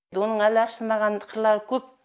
оның әлі ашылмаған қырлары көп